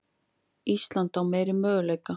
Ísland á meiri möguleika